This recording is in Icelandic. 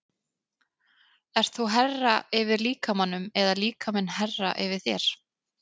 Ert þú herra yfir líkamanum eða líkaminn herra yfir þér?